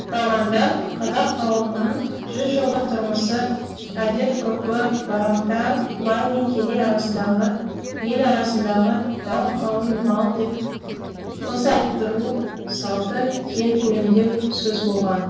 романда қазақ ауылының жүз жылдық тұрмысы әдетб ғұрпы барымта бай мен кедей арасындағы ел арасындағы дау қалың мал деп қыз айттыру салты кең көлемде сөз болған